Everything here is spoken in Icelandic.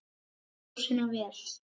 Kælið sósuna vel.